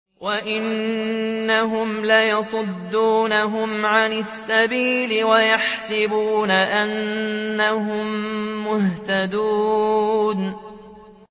وَإِنَّهُمْ لَيَصُدُّونَهُمْ عَنِ السَّبِيلِ وَيَحْسَبُونَ أَنَّهُم مُّهْتَدُونَ